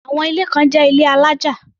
Àwọn ilé kan jẹ́ ilé alájà.